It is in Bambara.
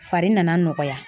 Fari nana nɔgɔya.